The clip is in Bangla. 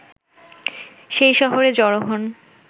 সেই শহরে জড়ো হন